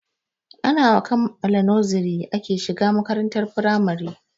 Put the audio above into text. Ana kammala noziri ake shiga makarantar firamare.